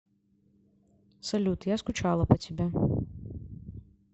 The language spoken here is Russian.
салют я скучала по тебе